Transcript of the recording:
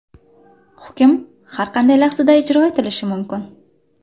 Hukm har qanday lahzada ijro etilishi mumkin.